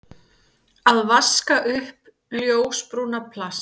Að vaska upp ljósbrúna plast